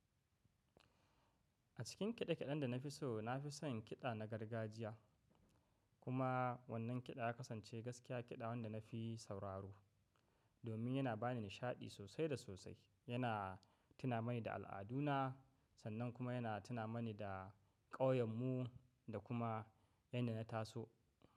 A cikin kiɗa kiɗen da na fi so, na fi son kiɗa na gargajiya. Kuma wannan kiɗa ya kasance gaskiya kiɗa wanda na fi sauraro, domin yana bani nishaɗi sosai da sosai. Yana tuna mani da al'aduna, sannan kuma yana tuna mani da ƙauyenmu da kuma inda na taso.